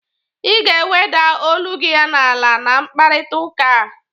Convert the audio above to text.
Ị ga-eweda olu gi n'ala na mkparịtaụka a!